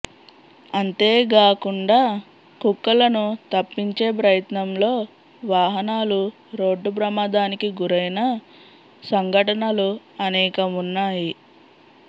అంతేగాకుండా కుక్కలను తప్పించే ప్రయత్నంలో వాహనాలు రోడ్డు ప్రమాదానికి గురైన సంఘటనలు అనేకం ఉన్నాయి